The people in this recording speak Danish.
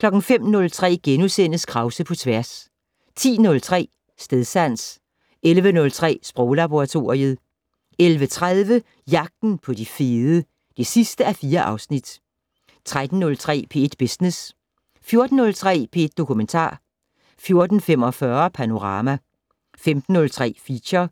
05:03: Krause på tværs * 10:03: Stedsans 11:03: Sproglaboratoriet 11:30: Jagten på de fede (4:4) 13:03: P1 Business 14:03: P1 Dokumentar 14:45: Panorama 15:03: Feature